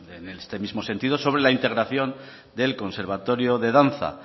en este mismo sentido sobre la integración del conservatorio de danza